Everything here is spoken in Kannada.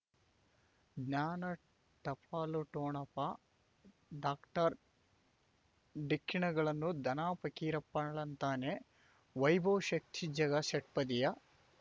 ಜ್ಞಾನ ಟಪಾಲು ಠೊಣಪ ಡಾಕ್ಟರ್ ಢಿಕ್ಕಿ ಣಗಳನು ಧನ ಫಕೀರಪ್ಪ ಳಂತಾನೆ ವೈಭವ್ ಶಕ್ತಿ ಝಗಾ ಷಟ್ಪದಿಯ